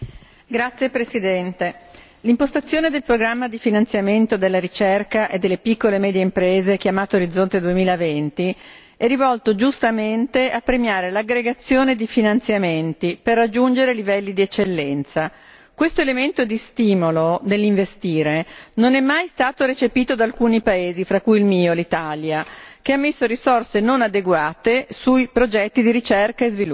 Signor Presidente, onorevoli colleghi, l'impostazione del programma di finanziamento della ricerca e delle piccole e medie imprese, chiamato Orizzonte 2020, è rivolto giustamente a premiare l'aggregazione di finanziamenti per raggiungere livelli di eccellenza. Questo elemento di stimolo nell'investire non è mai stato recepito da alcuni paesi, fra cui il mio, l'Italia, che ha stanziato risorse non adeguate per i progetti di ricerca e sviluppo.